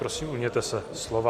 Prosím, ujměte se slova.